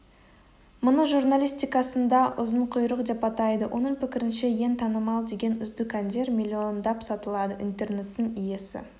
мұны журналистикасында ұзын құйрық деп атайды оның пікірінше ең танымал деген үздік әндер миллиондап сатылады интернеттің иесі